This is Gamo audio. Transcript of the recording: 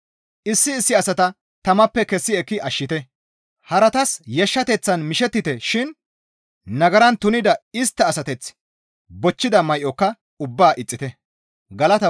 Issi issi asata tamappe kessi ekki ashshite; haratas yashshateththan mishettite shin nagaran tunida istta asateth bochchida may7oka ubbaa ixxite.